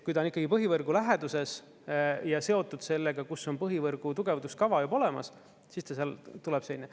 Kui ta on ikkagi põhivõrgu läheduses ja seotud sellega, kus on põhivõrgu tugevduskava juba olemas, siis ta seal tuleb selline.